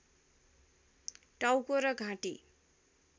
टाउको र घाँटी